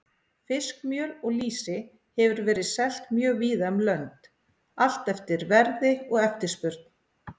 Fiskmjöl og lýsi hefur verið selt mjög víða um lönd, allt eftir verði og eftirspurn.